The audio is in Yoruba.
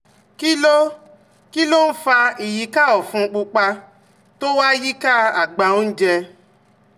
Kí ló Kí ló ń fa ìyíká ọ̀fun pupa tó wà yíká àgbá oúnjẹ?